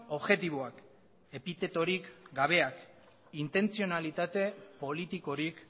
objektiboak epitetorik gabeak intentzionalitate politikorik